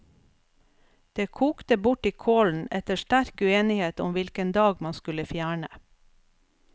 Det kokte bort i kålen etter sterk uenighet om hvilken dag man skulle fjerne.